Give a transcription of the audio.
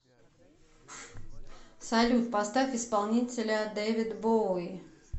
салют поставь исполнителя дэвид боуи